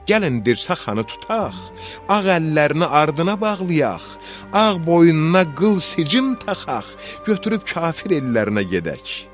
Gəlin dirsəxanı tutaq, ağ əllərini ardına bağlayaq, ağ boynuna qıl sicim taxaq, götürüb kafir ellərinə gedək.